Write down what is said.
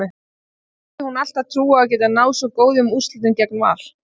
En hafði hún alltaf trú á að geta náð svo góðum úrslitum gegn Val?